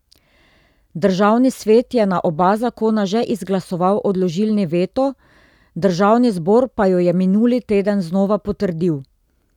Državni svet je na oba zakona že izglasoval odložilni veto, državni zbor pa ju je minuli teden znova potrdil.